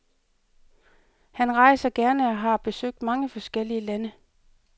Han rejser gerne og har i besøgt mange forskellige lande.